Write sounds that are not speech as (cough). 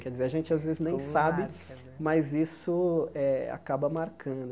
Quer dizer, a gente às vezes nem sabe, (unintelligible) mas isso eh acaba marcando.